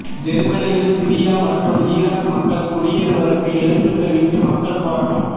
ஜேர்மனியில் Syria மற்றும் Iraq மக்கள் குடியேறுவதற்கு எதிர்ப்பு தெரிவித்து மக்கள் போராட்டம்